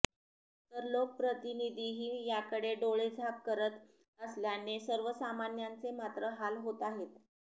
तर लोकप्रतिनिधीही याकडे डोळेझाक करत असल्याने सर्वसामान्यांचे मात्र हाल होत आहेत